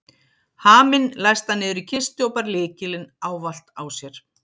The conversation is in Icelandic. Haminn læsti hann niður í kistu og bar lykilinn ávallt á sér.